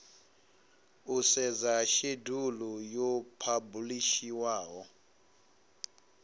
u sedza shedulu yo phabulishiwaho